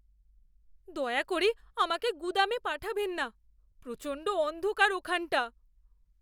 দয়া করে আমাকে গুদামে পাঠাবেন না। প্রচণ্ড অন্ধকার ওখানটা।